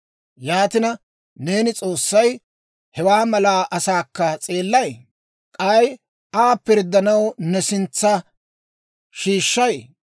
Yaatina neeni, S'oossay, hewaa mala asaakka s'eellay? K'ay Aa pirddanaw ne sintsa shiishshay?